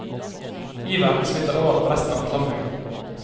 Iveren smitter over på resten av forsamlingen.